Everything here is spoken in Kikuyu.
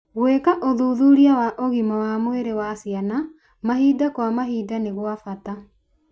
Gwĩka ũthuthuria wa ũgima wa mwĩrĩ wa ciana mahinda kwa mahinda nĩ gwa bata.